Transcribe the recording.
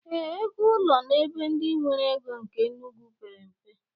Ee, ego ụlọ n'ebe ndị nwere ego nke Enugwu pere mpe.